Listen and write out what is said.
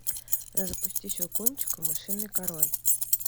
запусти щелкунчик и мышиный король